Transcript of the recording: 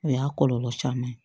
O y'a kɔlɔlɔ caman ye